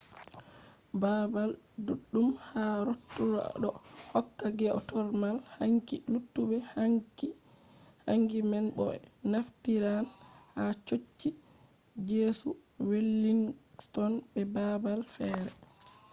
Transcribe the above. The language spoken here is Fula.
babal duddum ha rotorua do hokka geothermal hangi luttube hangi man bo be naftiran ha chochi jesu wellington be babal fere